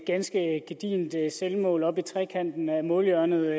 ganske gedigent selvmål oppe i trekanten af målhjørnet